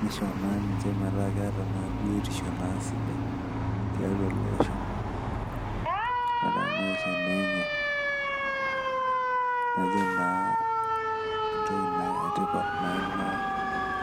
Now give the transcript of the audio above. nisho naa niche metaa ketaa ,naa biotisho sidai tiatua ele osho otemaisha, enye najo naa